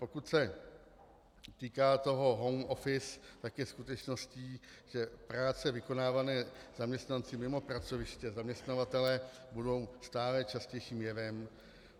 Pokud se týká toho home office, tak je skutečností, že práce vykonávané zaměstnanci mimo pracoviště zaměstnavatele budou stále častějším jevem.